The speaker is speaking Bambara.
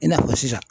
I n'a fɔ sisan